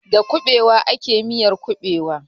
Da kuɓewa ake miyar kuɓewa.